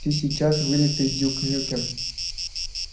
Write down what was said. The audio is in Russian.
ты сейчас вылитый дюк нюкем